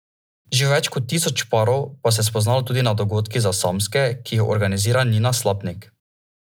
Že več kot tisoč parov pa se je spoznalo tudi na dogodkih za samske, ki jih organizira Nina Slapnik.